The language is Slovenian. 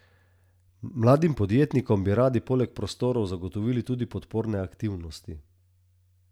Mladim podjetnikom bi radi poleg prostorov zagotovili tudi podporne aktivnosti.